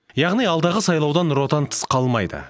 яғни алдағы сайлаудан нұр отан тыс қалмайды